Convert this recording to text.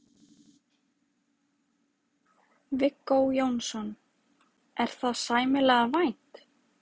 Viggó Jónsson: Er það sæmilega vænt?